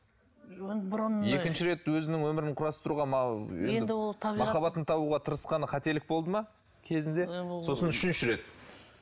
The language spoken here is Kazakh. оны бұрын екінші рет өзінің өмірін құрастыруға енді ол табиғат махаббатын табуға тырысқаны қателік болды ма кезінде сосын үшінші рет